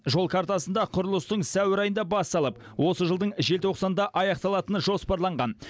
жол картасында құрылыстың сәуір айында басталып осы жылдың желтоқсанда аяқталатыны жоспарланған